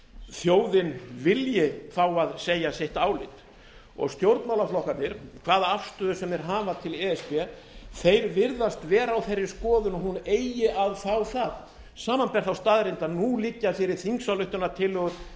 þjóðin vilji fá að segja sitt álit og stjórnmálaflokkarnir hvaða afstöðu sem þeir hafa til e s b virðast vera á þeirri skoðun að hún eigi að fá það samanber þá staðreynd að nú liggja fyrir þingsályktunartillögu